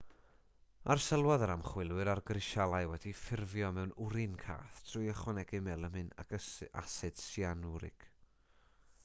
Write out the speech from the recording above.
arsylwodd yr ymchwilwyr ar grisialau wedi'u ffurfio mewn wrin cath trwy ychwanegu melamin ac asid syanwrig